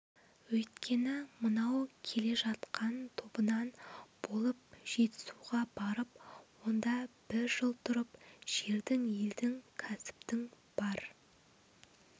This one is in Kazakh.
өйткені мынау келе жатқан тобынан болып жетісуға барып онда бір жыл тұрып жердің елдің кәсіптің бар